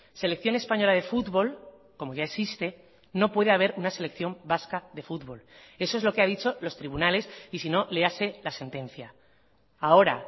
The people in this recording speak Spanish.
selección española de fútbol como ya existe no puede haber una selección vasca de fútbol eso es lo que ha dicho los tribunales y si no léase la sentencia ahora